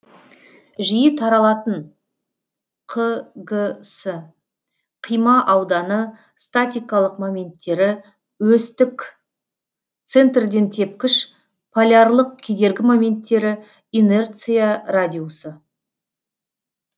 жиі таралатын қ г с қима ауданы статикалық моменттері өстік центрден тепкіш полярлық кедергі моменттері инерция радиусы